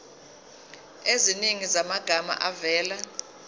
eziningi zamagama avela